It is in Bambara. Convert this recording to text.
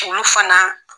Olu fana